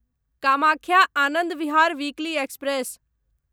Kamakhya Anand Vihar weekly express